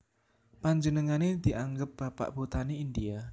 Panjenengané dianggep Bapak Botani India